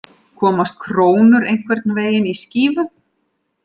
Komast krónur einhvern veginn í skífu